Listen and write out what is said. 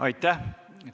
Aitäh!